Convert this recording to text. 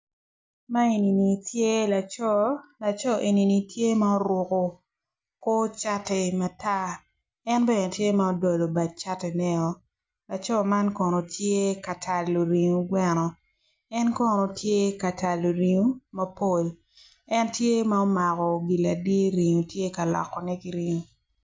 Man enini tye laco laco enini tye ma oruko kor cati matar en bene tye ma odolo bat catineo laco man kono tye ka talo ringo gweno en kono tye ka talo ringo mapol en tye ma omako gin ladi ringo tye ka lokone ki ringo.